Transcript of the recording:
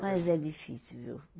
Mas é difícil, viu?